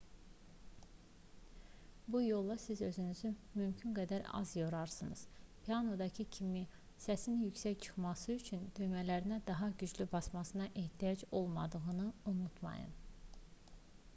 bu yolla siz özünüzü mümkün qədər az yorarsınız pianinodakı kimi səsin yüksək çıxması üçün düymələrinə daha güclü basmanıza ehtiyac olmadığını unutmayın